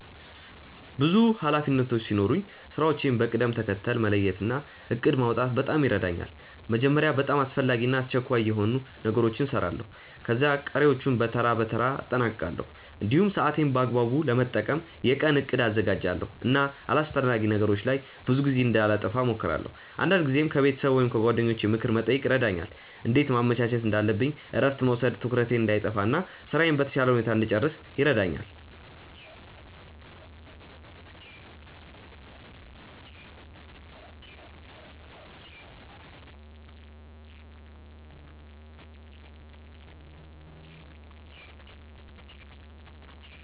ብዙ ኃላፊነቶች ሲኖሩኝ ስራዎቼን በቅደም ተከተል መለየት እና እቅድ ማውጣት በጣም ይረዳኛል። መጀመሪያ በጣም አስፈላጊ እና አስቸኳይ የሆኑ ነገሮችን እሰራለሁ፣ ከዚያ ቀሪዎቹን በተራ በተራ አጠናቅቃለሁ። እንዲሁም ሰዓቴን በአግባቡ ለመጠቀም የቀን እቅድ አዘጋጃለሁ እና አላስፈላጊ ነገሮች ላይ ብዙ ጊዜ እንዳላጠፋ እሞክራለሁ። አንዳንድ ጊዜም ከቤተሰብ ወይም ከጓደኞቼ ምክር መጠየቅ ይረዳኛል እንዴት ማመቻቸት እንዳለብኝ እረፍት መውሰድም ትኩረቴን እንዳይጠፋ እና ስራዬን በተሻለ ሁኔታ እንድጨርስ ይረዳኛል።